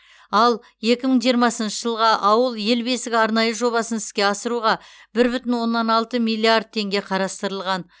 ал екі мың жиырмасыншы жылға ауыл ел бесігі арнайы жобасын іске асыруға бір бүтін оннан алты миллиард теңге қарастырылған